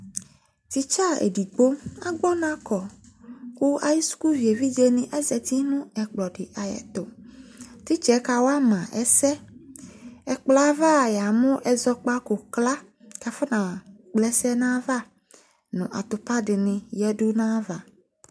Titsa edigbo agbɔnakɔ ku ayu sukuvi edigbo zati nu ɛkplɔditu nu ayɛtu titsɛ kawama ɛsɛ ɛkplɔ yɛ ava yamu ɛzɔkpakɔ kla kafɔna kpla ɛsɛ nava nu atupa dini yadu nu ayava